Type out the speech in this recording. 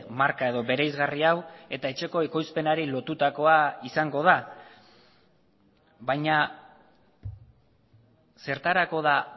marka edo bereizgarri hau eta etxeko ekoizpenari lotutakoa izango da baina zertarako da